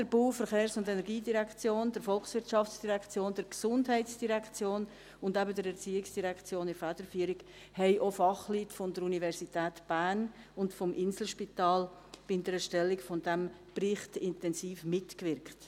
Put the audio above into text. Neben der BVE, der VOL, der GEF und eben der ERZ in der Federführung wirkten auch Fachleute der Universität Bern und des Inselspitals intensiv an der Erstellung des Berichts mit.